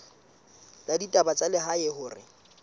la ditaba tsa lehae hore